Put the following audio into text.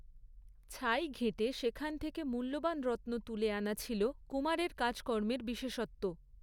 ছাই ঘেঁটে সেখান থেকে মূল্যবান রত্ন তুলে আনা ছিল কুমারের কাজকর্মের বিশেষত্ব।